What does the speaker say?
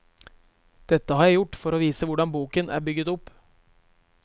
Dette har jeg gjort for å vise hvordan boken er bygget opp.